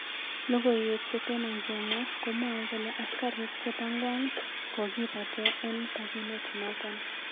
Logowek chetoma ngemwaa komwae kole askarik chepo kwang kokipate en pakinet naton